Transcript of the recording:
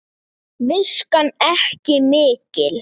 Viskan ekki mikil!